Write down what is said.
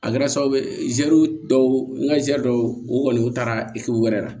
A kɛra sababu ye zɛri dɔw ka ziru dɔw u kɔni y'u taara e yɛrɛ la